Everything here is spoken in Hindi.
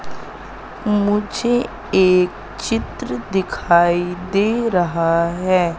मुझे एक चित्र दिखाई दे रहा है।